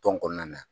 Tɔn kɔnɔna na